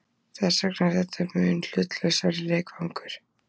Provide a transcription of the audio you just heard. Þetta verða tvö erlend lið og þess vegna er þetta mun hlutlausari leikvangur.